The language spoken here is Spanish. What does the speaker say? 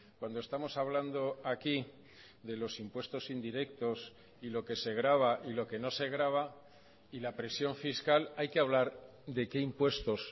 cuando estamos hablando aquí de los impuestos indirectos y lo que se grava y lo que no se grava y la presión fiscal hay que hablar de qué impuestos